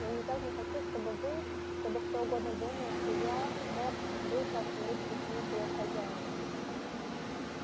я никак не хочу чтобы вы чтобы кто угодно думал что я мог бы как-нибудь причинить вред хозяину